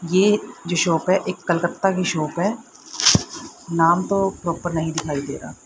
ये जो शॉप है एक कोलकाता की शॉप है नाम तो प्रॉपर नहीं दिखाई दे रहा।